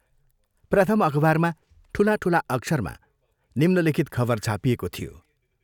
प्रथम अखबारमा ठूला ठूला अक्षरमा निम्नलिखित खबर छापिएको थियो।